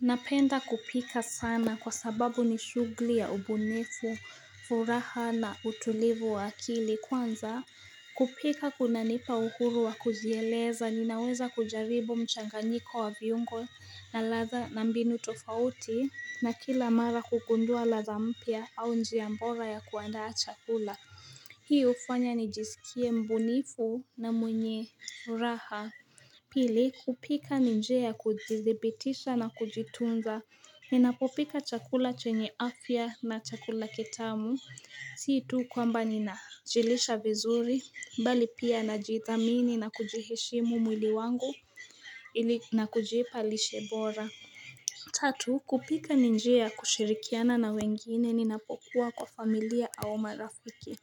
Napenda kupika sana kwa sababu ni shughuli ya ubunifu, furaha na utulivu wa akili kwanza kupika kunanipa uhuru wa kujieleza ninaweza kujaribu mchanganyiko wa viungo na ladha na mbinu tofauti na kila mara hugundua ladha mpya au njia bora ya kuandaa chakula Hii hufanya nijisikie mbunifu na mwenye furaha Pili kupika ni njia ya kuthibitisha na kujitunza, ninapopika chakula chenye afya na chakula kitamu, si tu kwamba ninajilisha vizuri, bali pia najithamini na kujiheshimu mwili wangu na kujipa lishe bora. Tatu kupika ni njia kushirikiana na wengine ninapokuwa kwa familia au marafiki.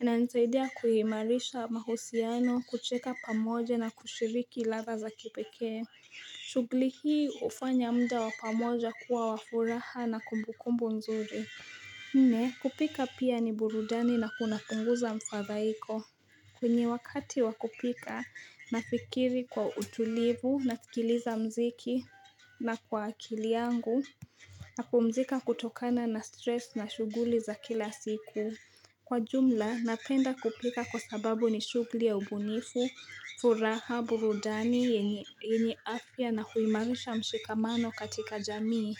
Inanisaidia kuimarisha mahusiano kucheka pamoja na kushiriki ladha za kipekee shughuli hii hufanya muda wa pamoja kuwa wa furaha na kumbukumbu nzuri nne kupika pia ni burudani na kunapunguza mfadhaiko kwenye wakati wa kupika nafikiri kwa utulivu nasikiliza mziki na kwa akili yangu napumzika kutokana na stress na shughuli za kila siku. Kwa jumla, napenda kupika kwa sababu ni shughuli ya ubunifu, furaha, burudani, yenye afya na huimarisha mshikamano katika jamii.